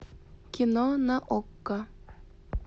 кино на окко